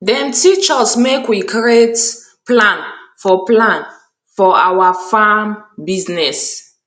dem teach us make we create plan for plan for awa farm business